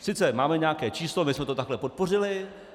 Sice máme nějaké číslo, my jsme to takhle podpořili.